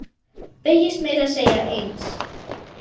Beygist meira að segja eins!